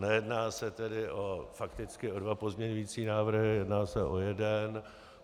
Nejedná se tedy fakticky o dva pozměňovací návrhy, jedná se o jeden.